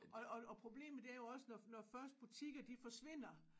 Og og problemet det er jo også når når først butikker de forsvinder